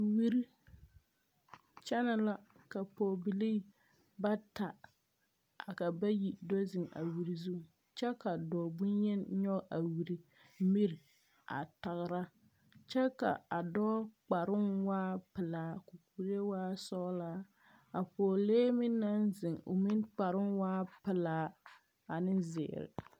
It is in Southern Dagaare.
Wiri kyɛnɛ la ka pɔgebilii bata ka bayi do zeŋ a wiri zu kyɛ ka dɔɔ boŋyeni nyɔge a wiri miri a tagera kyɛ ka a dɔɔ kparoo waa pelaa ka a kuree waa sɔglaa a pɔgelee meŋ naŋ zeŋ meŋ kparoo waa pelaa ane zeere.